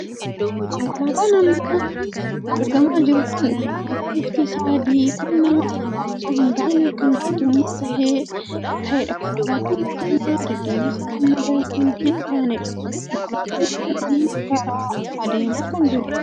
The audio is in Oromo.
Konkolaataan amma argamaa jiru kun konkolaataa bifti isaa adii kan nama dhuunfaa osoo hin taanee kan mootummaa kan taheedha. konkolaataan konkolaataa deddeebisa uummataa kan hin taaneedha. konkolaataan kun amma karaa adeemaa kan jiruudha.